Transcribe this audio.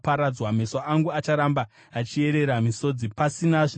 Meso angu acharamba achiyerera misodzi, pasina zvinoyamura,